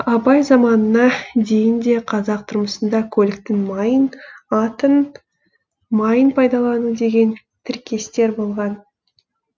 абай заманына дейін де қазақ тұрмысында көліктің майын аттың майын пайдалану деген тіркестер болған